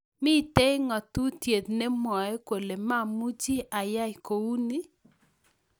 Mitei ngatutiet nemwoe kole mamuchi ayai kouni